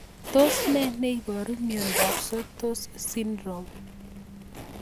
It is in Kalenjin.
Tos nee neiparu miondop Sotos syndrome?